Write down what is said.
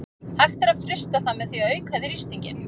Hægt er að frysta það með því að auka þrýstinginn.